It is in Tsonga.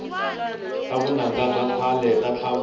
ta vunanga ta khale ta tlhavula